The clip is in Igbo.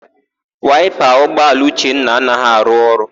Waịpa ụgbọala Uchenna anaghị arụ ọrụ.